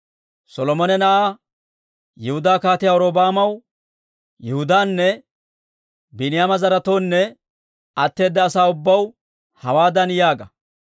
«Solomona na'aa, Yihudaa Kaatiyaa Robi'aamaw, Yihudaanne Biiniyaama zaretoonne atteeda asaa ubbaw hawaadan yaaga;